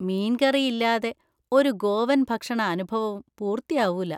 മീൻ കറി ഇല്ലാതെ ഒരു ഗോവൻ ഭക്ഷണ അനുഭവവും പൂർത്തിയാവൂല.